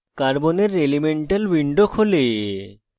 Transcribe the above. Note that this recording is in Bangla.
carbon এর elemental window খোলে